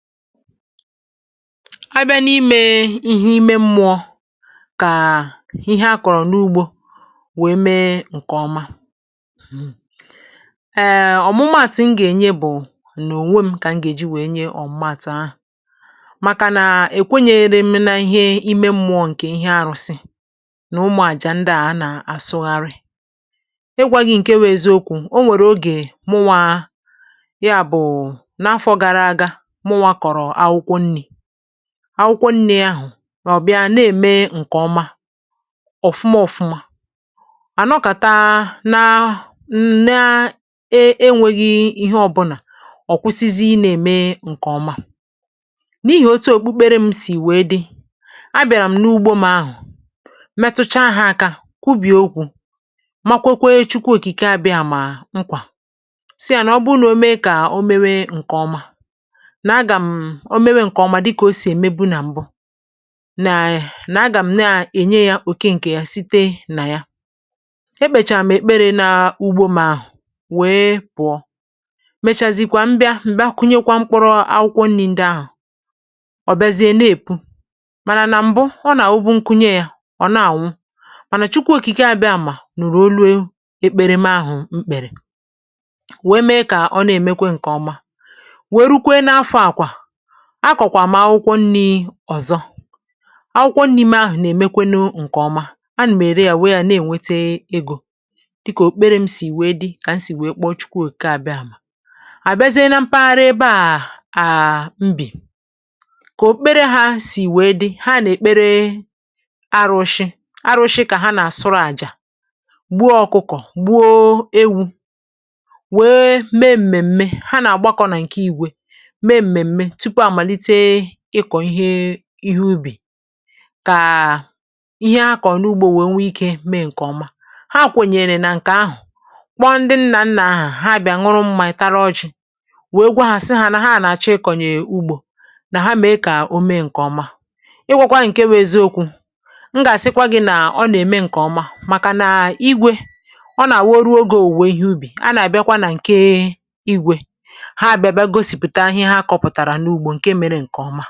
Abịa n’imė ihe ime mmụọ, kà ihe a kọrọ n’ugbo wèe mee ǹkè ọma um ọmụmaàtụ m gà-ènye bu n' ònwe m kà m gà-èji wèe nye ọmụmaàtụ ahụ, màkà nà èkwenyeghere m n’ihe ime mmụọ ǹkè ihe arụsị nà ụmụ àjà ndị à a nà-àsụgharị. Igwȧ gị ǹke wu eziokwu onwèrè oge mụnwa ya bụ n' afọ gara aga mụnwa kọrọ awụkwọ nni, àwụkwọ nni ahụ ọbịa na-ème ǹkè ọma ọfụma ọfụma ànọkàta na nna-eėnwėghi ihe ọbụlà ọkwụsizi ị na-ème ǹkè ọma, n’ihì otu òkpukpere m sì wèe dị, a bịàrà m n’ugbȯ m ahụ metucha ha aka, kwubìe okwu ma kwekwe chukwu òkike abịamà nkwà, sị yà nà ọ bụrụ na o mee kà o mewe ǹkè ọma, na-agam, o mewe ǹkè ọma dịkà o sì èmebu nà mbu na um nà agàm nà ènye ya òke ǹkè ya site nà ya, ekpèchàm èkpere nà ugbo m ahu, wee pụọ mèchàzìkwà m bịa m bịa kụnyekwa mkpụrụ akwụkwọ nni ǹdị ahụ ọbịazie na-èpu, mànà nà mbu ọ nà wubu nkunye ya ọna-ànwụ, mànà Chukwu okike abiamà nùrù olu e ekpere m ahụ mkpèrè, wee mee kà ọ na-èmekwe ǹkè ọma wee rukwe n’afọ à kwà, akọkwà m akwụkwọ nni ọzọ, akwụkwọ nni m ahụ nà-èmekwanụ ǹkè ọma, an m èrè yà wee yȧ na-ènwete egȯ dịkà òkpukpere m sì wee di kà esì wee kpọ Chikwu òkike àbịàmà. Abịazịe na mpaghara ebe à um m bì, kà òkpukpere hȧ sì wee di, ha nà-èkpere arụshị, arụshị kà ha nà-àsụrụ àjà gbuo ọkụkọ, gbuo ewu wee mee m mmeme, ha nà-àgbakọ nà ǹkè igwe mee mmeme tupu amalite ikọ ihe ubi kà ihe ha kọọ n'ugbo wee nwe ike mee ǹkè ọma, ha kwanyere na nka ahụ kpọ ndị nnà nnà ha, ha bià nwụrụ mmȧ, tara ọji, wee gwa hȧ sị hȧ nà ha nàchọ ịkọnyè ugbȯ, nà ha mèe kà o mee ǹkè ọma. Igwȧkwà i ǹkewu eziokwu, m gà-àsịkwa gị nà ọ nà-ème ǹkè ọma, màkà nà um igwė ọ nà-àwu oruo ogė òwùwè ihe ubì, a nà-àbịakwa nà ǹke Igwe ha bià bia gosiputa ihe ha kọrọ n'ubi ǹkè mere ǹkè ọma.